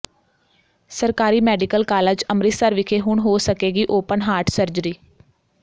ਸਰਕਾਰੀ medical college Amritsar ਵਿਖੇ ਹੁਣ ਹੋ ਸਕੇਗੀ ਓਪਨ ਹਾਰਟ ਸਰਜਰੀ